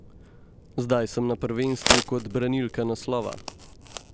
Zdaj sem na prvenstvu kot branilka naslova.